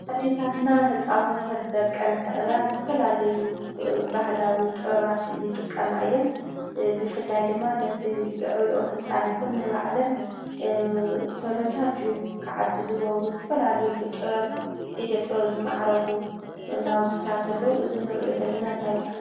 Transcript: ኣዴታትና ህፃውንተን ደቀን ንከዕብያ ዝተፈላለዩ ባህላዊ ጥበባት ይጥቀማ እየን፡፡ ብፍላይ ድማ ነቲ ዘዕብየኦ ህፃን ይኩን ንባዕለን ተመቻችዩ ክዓብይ ዝገብሩ ዝተፈላለዩ ብጥበብ ኢደ ጥበብ ዝማዕረጉ ናውቲታት ኣለዉ፡፡ እዚ ናውቲ እንዳታይ ይባሃል?